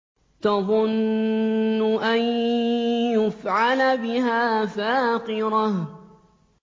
تَظُنُّ أَن يُفْعَلَ بِهَا فَاقِرَةٌ